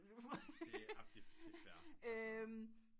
Det er amen det er fair